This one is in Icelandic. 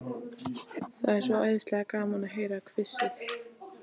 Það er svo æðislega gaman að heyra hvissið.